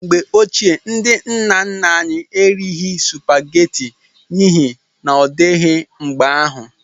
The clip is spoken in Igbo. Mgbe ochie, ndị nna nna anyị erighị supageti n'ihi n'odịghị mgbe ahụ.